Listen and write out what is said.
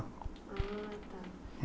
Ah, tá.